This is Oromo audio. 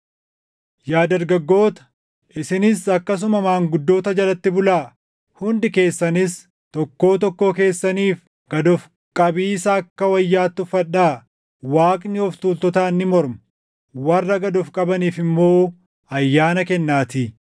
Yaa dargaggoota, isinis akkasuma maanguddoota jalatti bulaa. Hundi keessanis tokkoo tokkoo keessaniif gad of qabiisa akka wayyaatti uffadhaa; “Waaqni of tuultotaan ni morma; warra gad of qabaniif immoo ayyaana kennaatii.” + 5:5 \+xt Fak 3:34\+xt*